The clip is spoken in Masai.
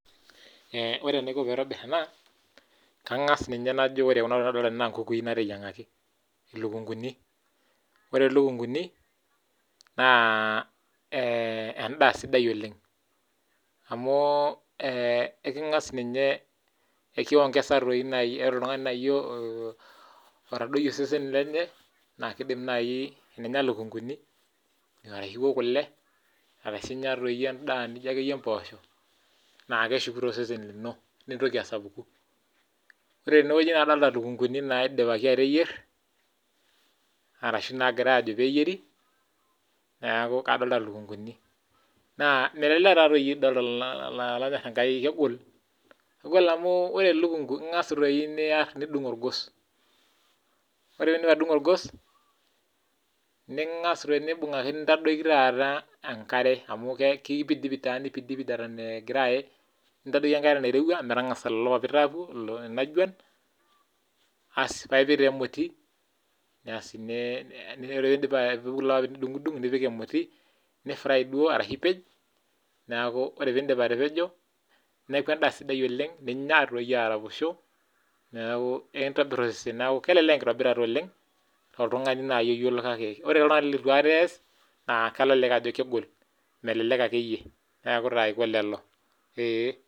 Ore enaiko pee aitobir ena naa kangas Ajo ore entoki nadolita tene naa nkukui nateyiangaki ore elukunguni naa endaa sidai oleng amu ore oltung'ani otadoyie osesen lenye ashu ewok kule arashu enyia endaa naijio mboshok naa keshuku osesen lino nitoki asapuku ore tenewueji nadolita elukunguni naidipaki ateyier arashu nagirai Ajo pee eyieri neeku kadolita lukunguni naa melelek taadoi kegol amu ore elukungu naa year nidung orgos ore pidip atudungo orgos ningas aitadoki enkare amu kipidipid taadoi Eton egira aye nintadoiki enare nairowua metang'asa enajuan aloo paa epik taa emoti ore pee epuku lelo papit nidungudung nipik emoti nifry ashu epej ore pee edip atapejo neeku endaa sidai oleng ninyia araposho neeku ekintobir osesen kelelek enkitobirita tooltung'ani otaasa kake ore oltung'ani leitu aikata es naa kelelek aku kegol melelek akeyie